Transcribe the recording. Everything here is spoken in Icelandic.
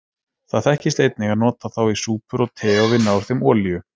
Það þekkist einnig að nota þá í súpur og te og vinna úr þeim olíu.